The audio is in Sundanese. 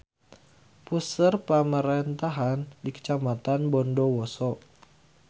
Puseur pamarentahan di Kacamatan Bondowoso.